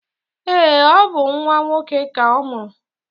Eé, ọ bụ nnwa nwoke ka ọ mụrụ.